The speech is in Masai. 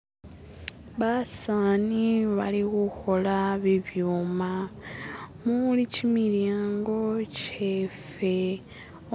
<"skip>" basaani balikhukhola bibyuma muli kimilyango kyeffe